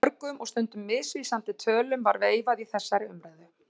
Mörgum og stundum misvísandi tölum var veifað í þessari umræðu.